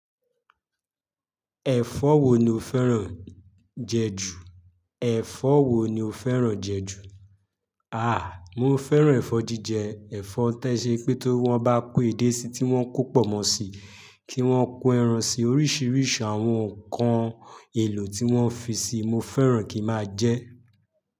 Ẹ̀fọ́ wo ni o fẹ́ràn jẹ ju? Ẹ̀fọ́ wo ni o fẹ́ràn jẹ ju? Àáà, mo fẹ́ràn ẹ̀fọ́ jíjẹ. Ẹ̀fọ́ tó ṣe pé tó wọn bá kó èdè síi tí wọ́n kó pònmọ́ síi, kí wọ́n kó ẹran sí i, oríṣiríṣi àwọn ǹkan èlò tí wọ́n fi síi, mo fẹ́ràn kí máa jẹ ẹ́.